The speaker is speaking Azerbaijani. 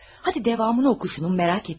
Hadi davamını oxu şunun, merak etdim.